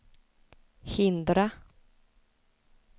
hindra